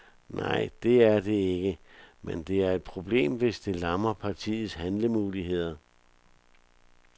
Nej, det er det ikke, men det er et problem, hvis det lammer partiets handlemuligheder.